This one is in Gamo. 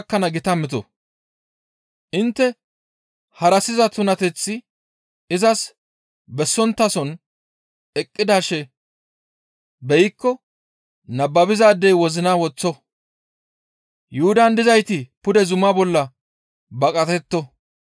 «Intte harassiza tunateth izas bessonttason eqqidaashe beykko nababizaadey wozinan woththo; Yuhudan dizayti pude zuma bolla baqatetto.